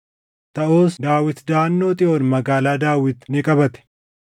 Taʼus Daawit daʼannoo Xiyoon Magaalaa Daawit ni qabate.